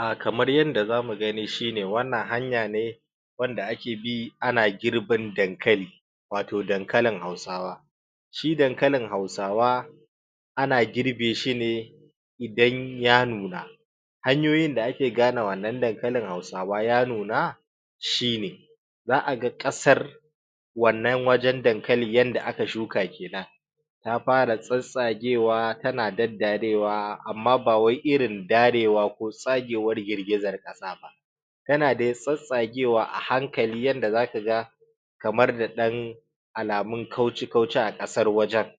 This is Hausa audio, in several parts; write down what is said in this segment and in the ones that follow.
Ah kamar yanda zamu gani shine wannan hanya ne wanda ake bi ana girbin dankali wato dankalin hausawa shi dankalin hausawa ana girbe shi ne idan ya nuna hanyoyin da ake gane wannan dankalin hausawa ya nuna shine za'a ga ƙasar wannan wajen dankali yanda aka shuka kenan ta para tsatstsagewa tana daddarewa amma ba wai irin darewa ko tsagewar girgizar ƙasa ba tana da tsatstsagewa a hankali yanda zaka ga kamae da ɗan alamun kauci kauci a ƙasar wajen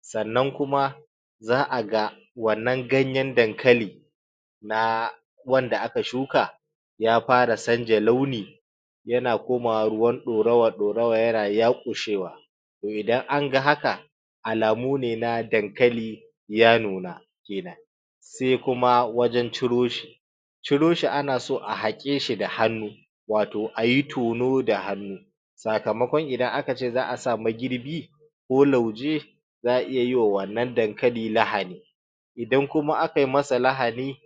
sannan kuma za'a ga wannan ganyen dankali na wanda aka shuka ya para sanja launi yana komawa ruwan ɗorawa ɗorawa yana yaƙushewa to idan an ga haka alamu ne na dankali ya nuna kenan ai kuma wajen ciro shi ciro shi ana so a haƙe shi da hannu wato ayi tono da hannu sakamakon idan akace za'a sa magirbi ko lauje za'a iya wa wannan dankali lahani idan kuma aka yi masa lahani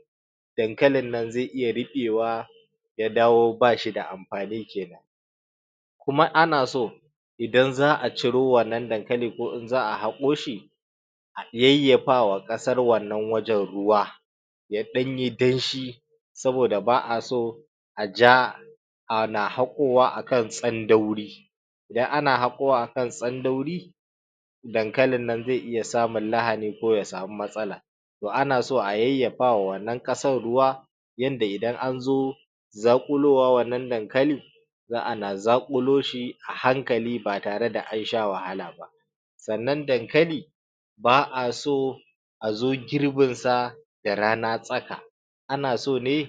dankalin nan zai iya riɓewa ya dawo bashi da amfani kenan kuma ana so idan za'a ciro wannan dankalin ko in za'a haƙo shi a yayyapa wa ƙasar wannan wajen ruwa ya ɗanyi danshi saboda ba'a so a ja ana haƙowa akan tsandauri idan ana haƙowa akan tsandauri dankalin nan zai iya samun lahani ko ya samu matsala to ana so a yayyapa wa wannan ƙasan ruwa yanda idan anzo zaƙulowa wannan dankali za'a na zaƙulo shi a hankali ba tare da an sha wahala ba sannan dankali ba'a so azo girbin sa da rana tsaka ana so ne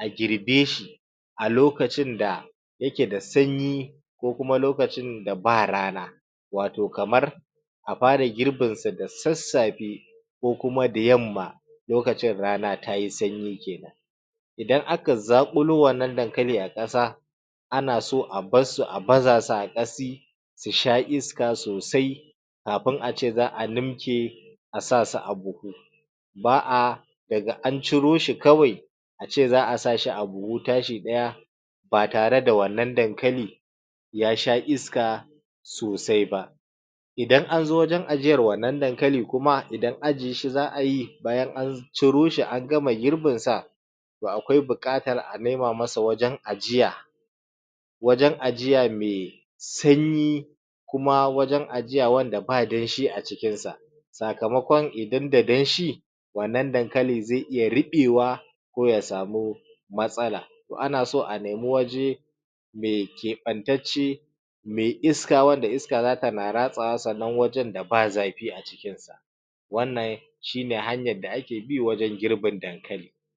a girbe shi a lokacin da yake da sanyi ko kuma lokacin da ba rana wato kamar a para girbin sa da sassafe ko kuma da yamma lokacin rana tayi sanyi kenan idan aka zaƙulo wannan dankali a ƙasa ana so a barsu a baza su a ƙasi su sha iska sosai kapin ace za'a nimke a sa su a buhu ba'a daga an ciro shi kawai ace za'a sa shi a buhu tashi ɗaya ba tare da wannan dankali ya sha iska sosai ba idan anzo wajen ajiyar wannan dankali kuma idan ajiye shi za'a yi bayan an ciro shi an gama girbin sa to akwai buƙatar a nema masa wajen ajiya wajen ajiya mai sanyi kuma wajen ajiya wanda ba danshi a cikinsa sakamakon idan da danshi wannan dankali zai iya riɓewa ko ya samu matsala to ana so a nemi waje mai keɓantacce mai iska wanda iska za tana ratsawa sannan wajen da ba zafi a cikin wannan shine hanyan da ake bi wajen girbin dankali